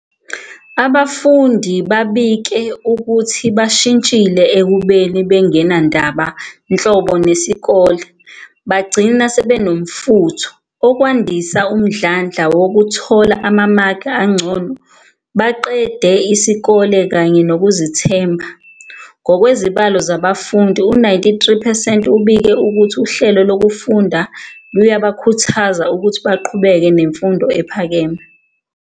Abafundi babike ukuthi bashintshile ekubeni bengenandaba nhlobo nesikole bagcina sebenomfutho, okwandisa umdlandla wokuthola amamaki angcono, baqede isikole kanye nokuzethemba. Ngokwezibalo zabafundi, u-93 percent ubike ukuthi uhlelo lokufunda luyabakhuthaza ukuthi baqhubeke nemfundo ephakeme.